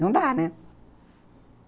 Não dá, né?